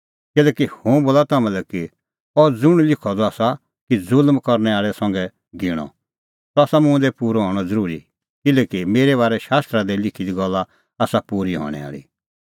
किल्हैकि हुंह बोला तम्हां लै कि अह ज़ुंण लिखअ द आसा कि ज़ुल्म करनै आल़ै संघै गिणअ सह आसा मुंह दी पूरअ हणअ ज़रूरी किल्हैकि मेरै बारै शास्त्रा दी लिखी गल्ला आसा पूरी हणैं आल़ी